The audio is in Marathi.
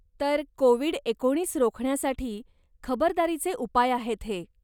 तर, कोविड एकोणीस रोखण्यासाठी खबरदारीचे उपाय आहेत हे.